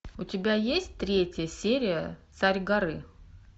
у тебя есть третья серия царь горы